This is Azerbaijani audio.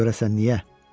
Görəsən niyə?